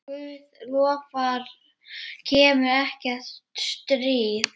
Guð lofar kemur ekkert stríð.